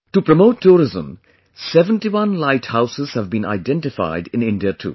To promote tourism 71 light houses have been identified in India too